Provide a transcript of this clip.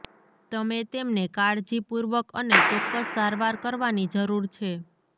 તમે તેમને કાળજીપૂર્વક અને ચોક્કસ સારવાર કરવાની જરૂર છે